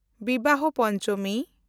Bibaha Panchami